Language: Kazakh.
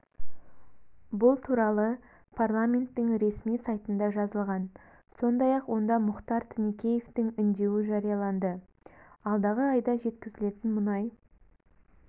бұл туралы парламенттің ресми сайтында жазылған сондай-ақ онда мұхтар тінікеевтің үндеуі жарияланды алдағы айда жеткізілетін мұнай